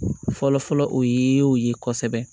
Fɔlɔ fɔlɔ o ye o ye kosɛbɛ